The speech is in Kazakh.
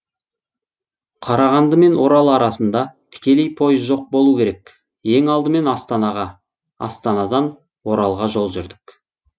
қарағанды мен орал арасында тікелей поезд жоқ болу керек ең алдымен астанаға астандан оралға жол жүрдік